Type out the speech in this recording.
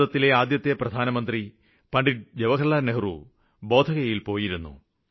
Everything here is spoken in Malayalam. ഭാരതത്തിലെ ആദ്യത്തെ പ്രധാനമന്ത്രി പണ്ഡിറ്റ് നെഹ്റു ബോധഗയയില് പോയിരുന്നു